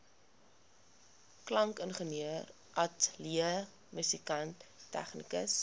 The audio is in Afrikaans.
klankingenieur ateljeemusikant tegnikus